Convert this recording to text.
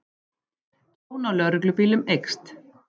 Tjón á lögreglubílum eykst